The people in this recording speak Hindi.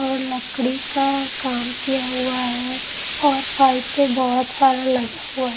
और लकड़ी का काम किया हुआ है और पाइप पे बहुत सारा लगा हुआ है ।